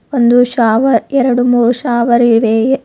ಒಂದು ಶಾವರ್ ಎರಡ್ಮೂರು ಶಾವರ್ ಇದೆ.